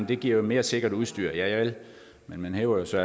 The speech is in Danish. det giver mere sikkert udstyr javel men man hæver så